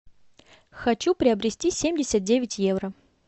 хочу приобрести семьдесят девять евро